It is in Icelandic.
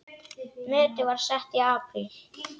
Metið var sett í apríl.